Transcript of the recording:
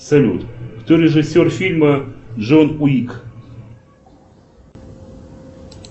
салют кто режиссер фильма джон уик